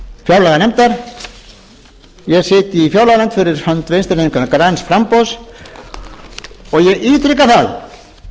fjárlaganefndar ég sit í fjárlaganefnd fyrir hönd vinstri hreyfingarinnar græns framboðs og ég ítreka það